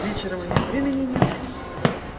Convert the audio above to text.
вечером у неё времени нет